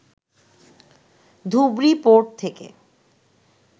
Dhubri port থেকে